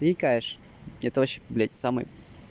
ты икаешь это вообще блядь самый